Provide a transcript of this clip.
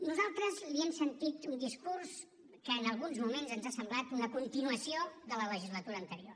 nosaltres li hem sentit un discurs que en alguns moments ens ha semblat una continuació de la legislatura anterior